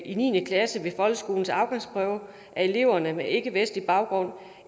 i niende klasse ved folkeskolens afgangsprøve at eleverne med ikkevestlig baggrund